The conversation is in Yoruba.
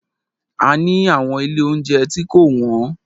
A ni àwọn ilé óunjẹ tí kò wọ́n.